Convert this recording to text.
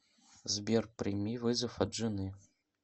сбер прими вызов от жены